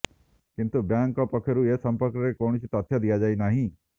କିନ୍ତୁ ବ୍ୟାଙ୍କ ପକ୍ଷରୁ ଏ ସମ୍ପର୍କରେ କୌଣସି ତଥ୍ୟ ଦିଆଯାଇ ନାହିଁ